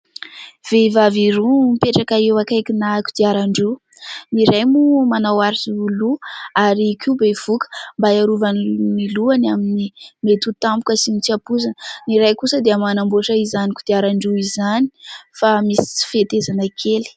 Vehivavy roa mipetraka eo akaikina kodiaran-droa, ny iray moa manao aro loha ary koa bevoka mba hiarovany ny lohany ny amin'ny mety ho tampoka sy ny tsy ampoizina, ny iray kosa dia manamboatra izany kodiaran-droa izany fa misy tsy fihetezana kely.